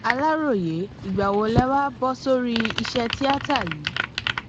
aláròye ìgbà wo lẹ wàá bọ sórí iṣẹ tíata yìí